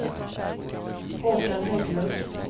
Håkan Hägglund